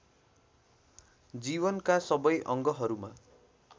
जीवनका सबै अङ्गहरूमा